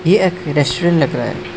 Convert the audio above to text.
ये एक रेस्टोरेंट लग रहा है।